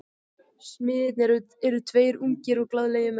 Smiðirnir eru tveir ungir og glaðlegir menn.